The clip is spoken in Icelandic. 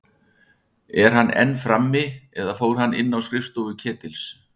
Er hann enn frammi- eða fór hann inn á skrifstofu Ketils?